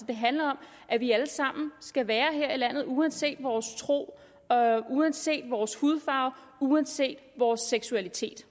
det handler om at vi alle sammen skal være her i landet uanset vores tro uanset vores hudfarve og uanset vores seksualitet